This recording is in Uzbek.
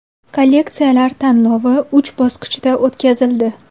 Kolleksiyalar tanlovi uch bosqichda o‘tkazildi.